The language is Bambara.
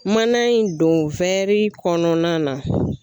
Mana in don kɔnɔna na.